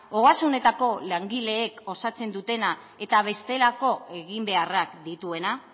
ogasunetako langileek osatzen dutena eta bestelako eginbeharrak dituena